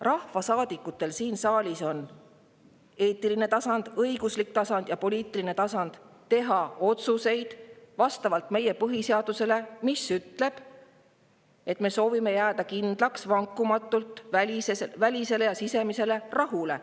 Rahvasaadikud siin saalis teevad otsuseid eetilisel tasandil, õiguslikul tasandil ja poliitilisel tasandil, vastavalt meie põhiseadusele, mis ütleb, et me soovime jääda vankumatult kindlaks välisele ja sisemisele rahule.